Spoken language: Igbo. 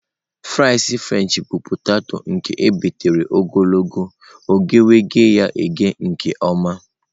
Fries Frenchị bụ poteto ndị e gbutere ogologo oge wee eghe ya eghe nke ọma..